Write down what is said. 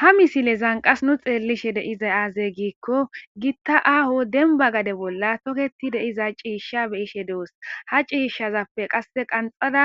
Ha misilezan qas nu xeellishe deizay aazey giikko gitta aaho denba gade bolla toketi deiza ciishsha beyishe deos ha ciishshazappe qasse qanxada